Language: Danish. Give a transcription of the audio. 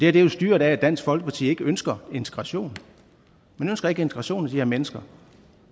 er jo styret af at dansk folkeparti ikke ønsker integration man ønsker ikke integration af de her mennesker